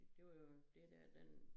Det var jo det dér den